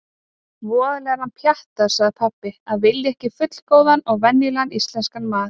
Voðalega er hann pjattaður, sagði pabbi: Að vilja ekki fullgóðan og venjulegan íslenskan mat.